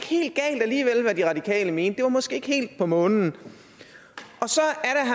helt galt alligevel hvad de radikale mente det var måske ikke helt på månen og så